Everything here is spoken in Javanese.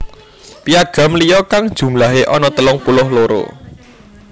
Piagam liya kang jumlahe ana telung puluh loro